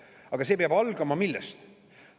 Aga see peab algama millest?